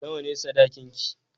Nawa ne sadakinki?